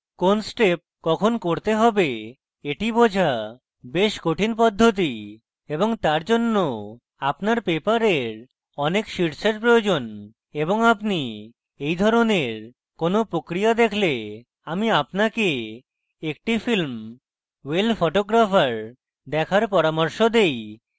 কোন step কখন করতে হবে এটি বোঝা বেশ কঠিন পদ্ধতি এবং তার জন্য আপনার paper অনেক শীটসের প্রয়োজন এবং আপনি এই ধরনের কোনো প্রক্রিয়া দেখলে আমি আপনাকে একটি film well photographer দেখার পরামর্শ দেই